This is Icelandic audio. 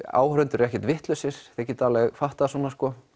áhorfendur eru ekkert vitlausir þeir geta alveg fattað svona sko